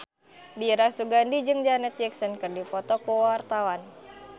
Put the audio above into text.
Dira Sugandi jeung Janet Jackson keur dipoto ku wartawan